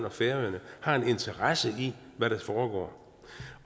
og færøerne har en interesse i hvad der foregår